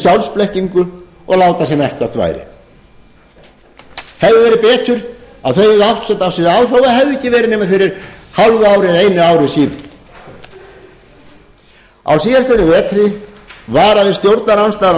sjálfsblekkingu og láta sem ekkert væri hefði verið betur að þau hefðu áttað sig á þó það hefði ekki verið nema fyrir hálfu ári eða einu ári síðan á síðastliðnum vetri varaði stjórnarandstaðan